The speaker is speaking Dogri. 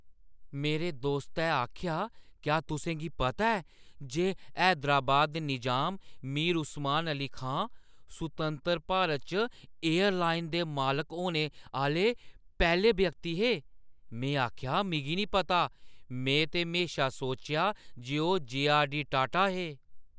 मेरे दोस्तै आखेआ, क्या तुसें गी पता ऐ जे हैदराबाद दे निज़ाम मीर उस्मान अली खान सुतंतर भारत च एयरलाइन दे मालक होने आह्‌ले पैह्‌ले व्यक्ति हे? में आखेआ, "मिगी नेईं पता। में ते म्हेशा सोचेआ जे ओह् जे.आर.डी.टाटा हे।